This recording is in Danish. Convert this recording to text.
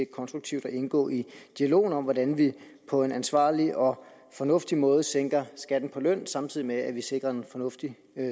konstruktivt at indgå i dialogen om hvordan vi på en ansvarlig og fornuftig måde sænker skatten på løn samtidig med at vi sikrer en fornuftig